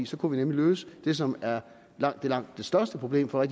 så kunne vi nemlig løse det som er langt langt det største problem for